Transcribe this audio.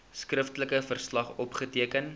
skriftelike verslag opgeteken